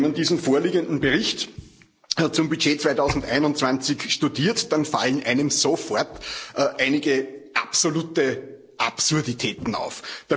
Wenn man diesen vorliegenden Bericht zum Budget 2021 studiert, dann fallen einem sofort einige absolute Absurditäten auf.